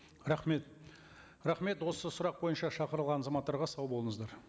рахмет рахмет осы сұрақ бойынша шақырылған азаматтарға сау болыңыздар